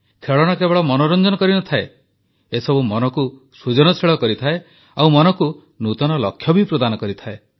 ଖେଳଣା କେବଳ ମନୋରଞ୍ଜନ କରିନଥାଏ ଏସବୁ ମନକୁ ସୃଜନଶୀଳ କରିଥାଏ ଆଉ ମନକୁ ନୂତନ ଲକ୍ଷ୍ୟ ବି ପ୍ରଦାନ କରିଥାଏ